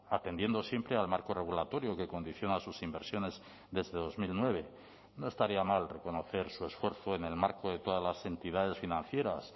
atendiendo siempre al marco regulatorio que condiciona sus inversiones desde dos mil nueve no estaría mal reconocer su esfuerzo en el marco de todas las entidades financieras